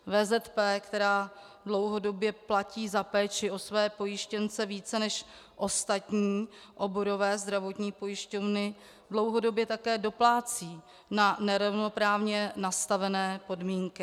VZP, která dlouhodobě platí za péči o své pojištěnce více než ostatní oborové zdravotní pojišťovny, dlouhodobě také doplácí na nerovnoprávně nastavené podmínky.